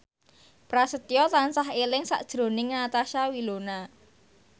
Prasetyo tansah eling sakjroning Natasha Wilona